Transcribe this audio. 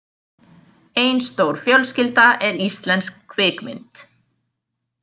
Ein stór fjölskylda er íslensk kvikmynd.